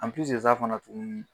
fana tuguni.